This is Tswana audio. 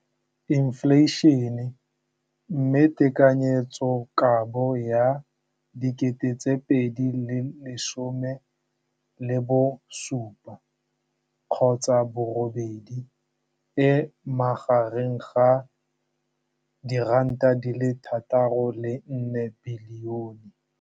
Infleišene, mme tekanyetsokabo ya 2017, 18, e magareng ga R6.4 bilione.